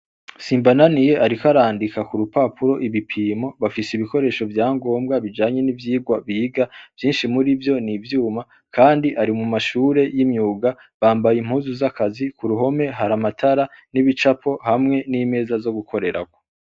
Simbananiye ariko arandika kurupapuro ibipimo bafise ibikoresho vyangombwa bijanye n'ivyirwa biga vyinshi murivyo n'ivyuma kandi ari mumashure y'imyuga bamabaye impuzu z'akazi, kuruhome hari amatara n'ibicapo hamwe n'imeza zo gukorerako.